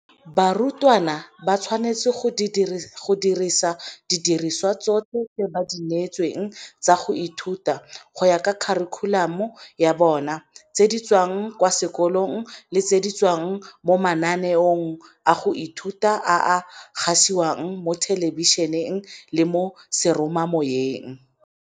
Barutwana ba tshwanetse go dirisa didirisiwa tsotlhe tse ba di neetsweng tsa go ithuta, go ya ka kharikhulamo ya bona, tse di tswang kwa sekolong le tse di tswang mo mananeong a go ithuta a a gasiwang mo thelebišeneng le mo seromamoweng.